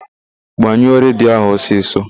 Gbanyụọ redio ahụ ọsịsọ!